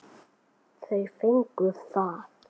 Þau fengu það.